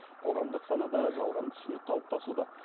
қоғамдық санада жалған түсінік қалыптасуда